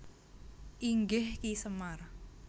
Inggih Ki Semar